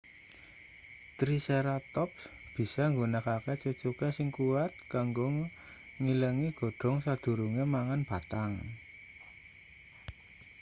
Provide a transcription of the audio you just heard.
triceratops bisa nggunakake cucuke sing kuwat kanggo ngilangi godhong sadurunge mangan batang